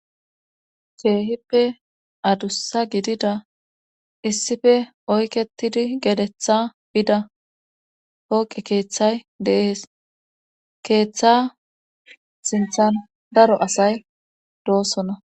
Keehippe adussa gidida issife oyketidi gedetha bida pooqe keeththay deees keeththa sinthan daro asay doosona.